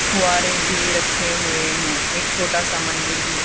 फुव्वारे भी रखे हुए हैं एक छोटा सा मंदिर भी।